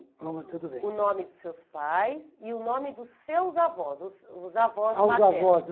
tudo bem O nome dos seus pais e o nome dos seus avós, os os avós maternos. A os avós